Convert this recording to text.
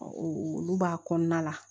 olu b'a kɔnɔna la